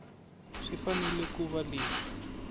swi fanele ku va leswi